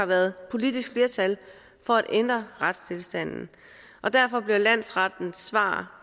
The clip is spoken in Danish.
været politisk flertal for at ændre retstilstanden derfor bliver landsrettens svar